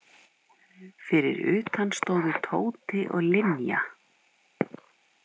Fyrir utan stóðu Tóti og Linja.